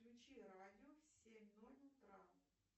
включи радио в семь ноль утра